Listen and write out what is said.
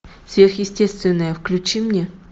сверхъестественное включи мне